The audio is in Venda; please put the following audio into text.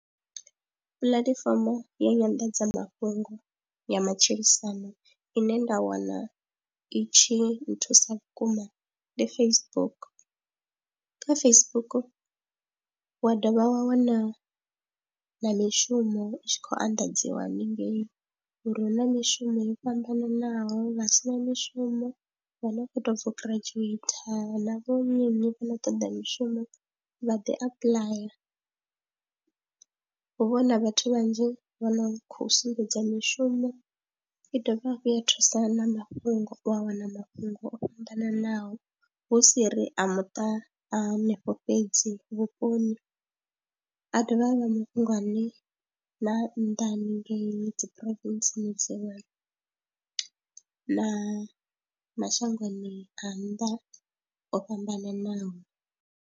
Puḽatifomo ya nyanḓadzamafhungo ya matshilisano ine nda wana itshi nthusa vhukuma ndi Facebook, kha Facebook wa dovha wa wana na mishumo i tshi khou anḓadziwa haningei uri hu na mishumo yo fhambananaho vha si na mishumo vha no khou tou bva u giradzhueitha na vho nyi nyi vha na toḓa mishumo vha ḓi apuḽaya. Hu vha huna vhathu vhanzhi vho no khou sumbedza mishumo i dovha hafhu ya thusa na mafhungo u a wana mafhungo o fhambananaho hu si ri a muṱa a hanefho fhedzi vhuponi, a dovha a vha mafhungo ane na a nnḓa hanengei dzi province na mashangoni a nnḓa o fhambananaho.